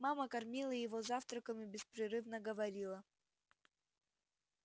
мама кормила его завтраком и беспрерывно говорила